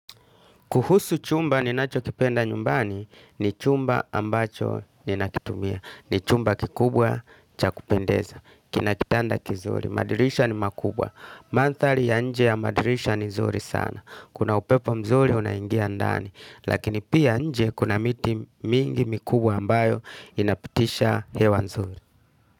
Kuhusu chumba ninachokipenda nyumbani ni chumba ambacho ni nakitumia. Ni chumba kikubwa cha kupendeza. Kina kitanda kizuri. Madirisha ni makubwa. Manthali ya nje ya madirisha ni nzuri sana. Kuna upepo mzuri unaingia ndani. Lakini pia nje kuna miti mingi mikubwa ambayo inapitisha hewa mzuri.